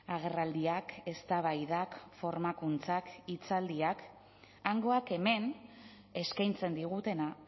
agerraldiak eztabaidak formakuntzak hitzaldiak hangoak hemen eskaintzen digutena